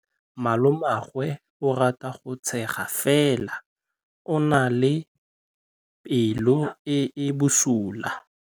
Malomagwe o rata go tshega fela o na le pelo e e bosula.